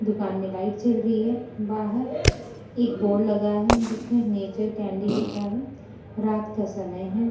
दुकान में लाइट चल रही है बाहर एक बोर्ड लगा है जिसमें नेचर कैंडी लिखा है रात का समय है।